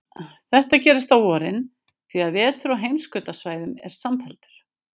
Þetta gerist á vorin, því að vetur á heimskautasvæðum er samfelldur.